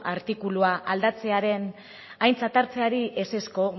artikulua aldatzearen aintzat hartzeari ezezko